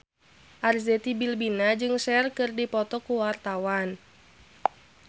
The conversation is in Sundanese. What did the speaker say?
Arzetti Bilbina jeung Cher keur dipoto ku wartawan